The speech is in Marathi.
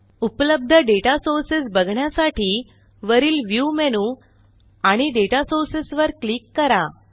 उपलब्ध डेटा सोर्सेस बघण्यासाठी वरील व्ह्यू मेनू आणि दाता सोर्सेस वर क्लिक करा